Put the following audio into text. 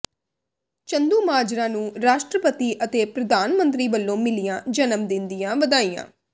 ਚੰਦੂਮਾਜਰਾ ਨੂੰ ਰਾਸ਼ਟਰਪਤੀ ਅਤੇ ਪ੍ਰਧਾਨ ਮੰਤਰੀ ਵਲੋਂ ਮਿਲੀਆਂ ਜਨਮ ਦਿਨ ਦੀਆਂ ਵਧਾਈਆਂ